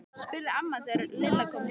spurði amma þegar Lilla kom heim.